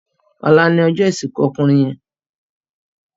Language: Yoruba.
Òlá lòjò isinkú òkúnrin yèn